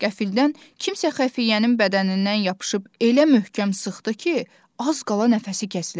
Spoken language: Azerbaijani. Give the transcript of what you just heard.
Qəfildən kimsə xəfiyyənin bədənindən yapışıb elə möhkəm sıxdı ki, az qala nəfəsi kəsiləcəkdi.